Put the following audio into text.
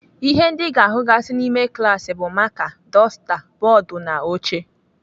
Ihe ndị Ị ga-ahụgasị n'ime klaasị bụ maka, dọsta, bọọdụ, na oche.